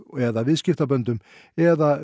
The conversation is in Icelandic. eða viðskiptaböndum eða